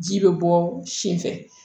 Ji bɛ bɔ sen fɛ